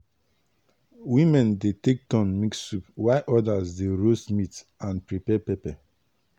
women dey take turn mix soup while others dey roast meat and prepare pepper.